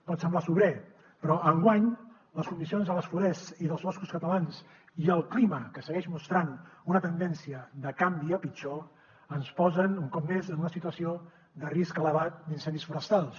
pot semblar sobrer però enguany les condicions de les forests i dels boscos catalans i el clima que segueix mostrant una tendència de canvi a pitjor ens posen un cop més en una situació de risc elevat d’incendis forestals